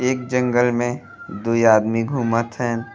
एक जंगल में दुइ आदमी घुमत हएन।